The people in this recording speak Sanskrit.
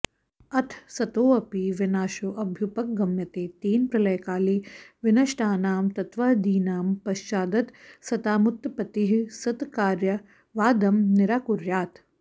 अथ सतोऽपि विनाशोऽभ्युपगम्यते तेन प्रलयकाले विनष्टानां तत्त्वादीनां प्रश्चादसतामुत्पत्तिः सत्कार्यवादं निराकुर्यात्